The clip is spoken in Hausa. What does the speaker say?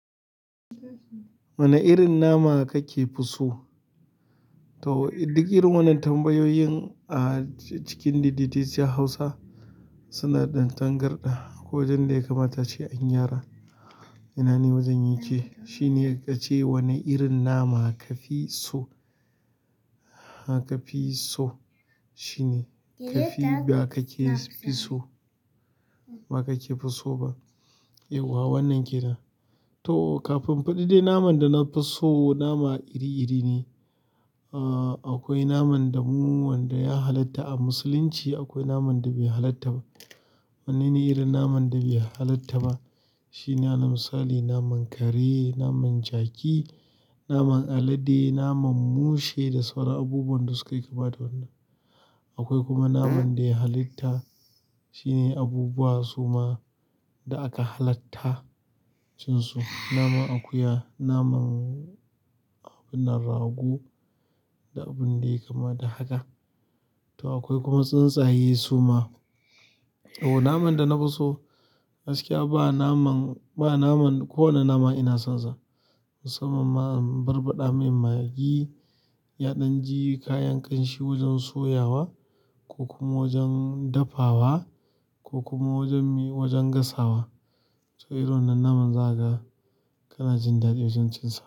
Wane irin nama kake fiso? To, duk irin wannan tambayoyin a cikin daideteciyar Hausa suna ɗan tangarɗa. Ƙwai wajen ɗaya kamata ce an yi gyara. Nan ni wajen yake. Shi ne kace, wane irin nama ka fi so? Ka fi so, shi ne. Kafi ba kake fi so ba kakefi so ba yauwa wannan ke nan. To kafin in faɗi dai naman danafi so, nama iri iri ne. Ah, akwai naman da mu wanda ya halatta a musulunci, akwai naman da bai halatta ba. Wannene irin naman da bai halatta ba shine alal misali naman kare, naman jaki, naman alade, naman mushe da sauran abubuwan da suka yi kama da wannan. Akwai kuma naman da ya halitta, shine abubuwa suma da aka halatta cinsu. Naman akuya, naman abinnan rago da abun da yayi kama da haka. To akwai kuma tsuntsaye suma. O naman da na fi so, gaskiya ba naman, ba naman ko wane nama ina son sa. Musamman ma, um barbaɗa mai maggi, ya ɗan ji kayan ƙanshi wajen soya wa ko kuma wajen dafawa ko kuma wajen gasawa. To irin wannan naman za ka, kana jin daɗi wajen cinsa.